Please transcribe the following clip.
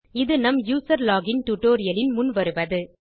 இது நம் user login tutorial இன் முன் வருவது